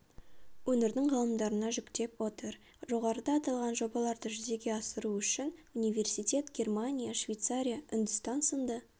өңірдің ғалымдарына жүктеп отыр жоғарыда аталған жобаларды жүзеге асыру үшін университет германия швейцария үндістан сынды